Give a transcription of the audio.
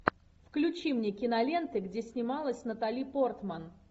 включи мне киноленты где снималась натали портман